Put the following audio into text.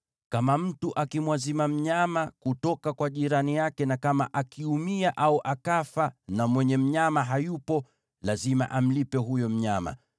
“Kama mtu akimwazima mnyama kutoka kwa jirani yake, na kama akiumia au akafa na mwenye mnyama hayupo, lazima amlipe huyo mnyama.